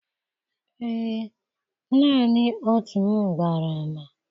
Ee, naanị otu m gbara ama.